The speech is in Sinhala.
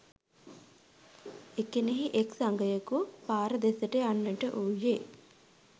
එකෙනෙහි එක්‌ සගයකු පාර දෙසට යන්නට වූයේ